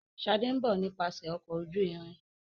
Shade nbọ nípasẹ Ọkọ̀ ojú-irin.